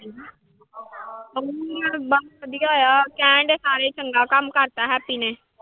ਬਸ ਵਧੀਆ ਆ ਕਹਿੰਦੇ ਸਾਰੇ ਚੰਗਾ ਕੰਮ ਕਰ ਦਿੱਤਾ ਹੈਪੀ ਨੇ।